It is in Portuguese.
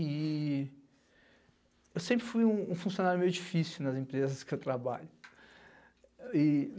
E eu sempre fui um funcionário meio difícil nas empresas que eu trabalho.